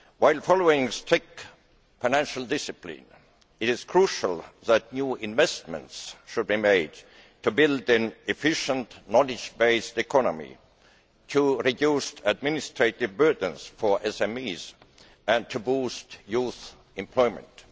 While following strict financial discipline, it is crucial that new investments should be made to build an efficient knowledge based economy, to reduce administrative burdens for SMEs and to boost youth employment.